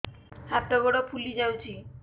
ହାତ ଗୋଡ଼ ଫୁଲି ଯାଉଛି